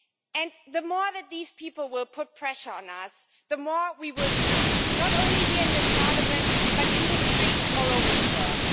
And the more that these people put pressure on us, the more we will unite not only here in this Parliament, but in the streets all over the world.